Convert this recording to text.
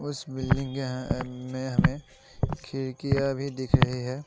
उस बिल्डिंग के अह में हमें खिड़कियां भी दिख रही हैं।